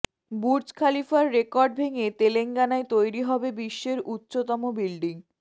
Burj খলিফার record ভেঙে তেলেঙ্গানায় তৈরি হবে বিশ্বের উচ্চতম বিল্ডিং